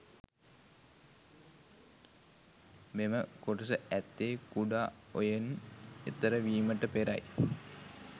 මෙම කොටස ඇත්තේ කුඩා ඔයෙන් එතර විමට පෙරයි.